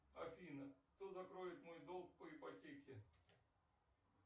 афина кто закроет мой долг по ипотеке